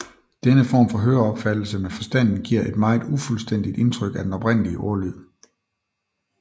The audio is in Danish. Denne form for høreopfattelse med forstanden giver et meget ufuldstændigt indtryk af den oprindelige ordlyd